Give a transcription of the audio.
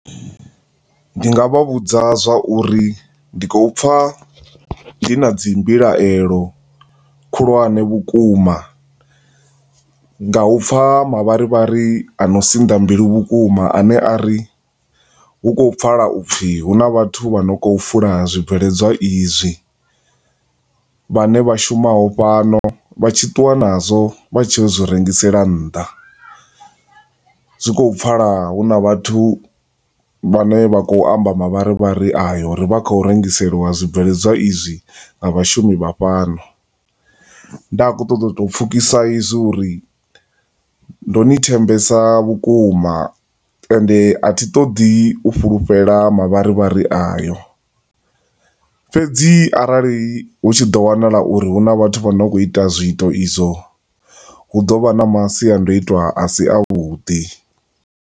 Ndi nga vha vhudza zwauri ndi khou pfa ndi na dzi mbilaelo khulwane vhukuma nga upfa mavharivhari ano sinḓa mbilu vhukuma ane a ri, hu khou pfala upfi hu na vhathu vhane vha khou fula zwibveledzwa izwi, vhane vha shumaho fhano, vha tshi ṱuwa na zwo vha tshiya u zwi rengisela nnḓa, zwi khou pfala hu na vhathu vha ne vha khou amba mavharivhari ayo, vha khou rengiselwa zwibveledzwa izwi nga vhashumi vha fhano. Nda kho ṱo ṱoḓa u pfukhisa izwi uri ndo ni thembesa vhukuma, ende a thi ṱoḓi u fulufhela mavharivhari ayo, fhedzi arali hu tshi ḓo wanala uri hu na vhathu vha ne vha khou ita zwiito izwo, hu ḓo vha na masiandoitwa a si a vhuḓi